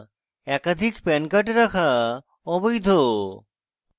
একাধিক pan card রাখা অবৈধ